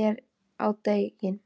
er á daginn.